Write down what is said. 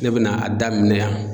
Ne bɛ na a daminɛn yan.